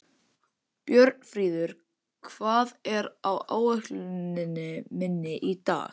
Björnfríður, hvað er á áætluninni minni í dag?